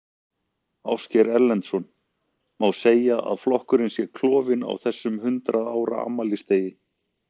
Ásgeir Erlendsson: Má segja að flokkurinn sé klofinn á þessum hundrað ára afmælisdegi?